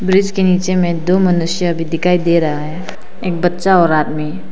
Bridge के नीचे में दो मनुष्य भी दिखाई दे रहा है एक बच्चा और आदमी।